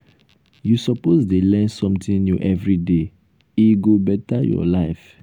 you suppose dey learn something new everyday e um go beta your life. um